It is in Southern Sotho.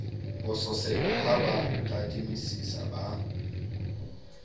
bososela ha ba tadimisisa ba